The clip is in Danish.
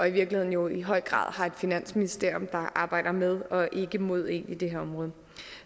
i virkeligheden jo i høj grad har et finansministerium der arbejder med og ikke mod én på det her område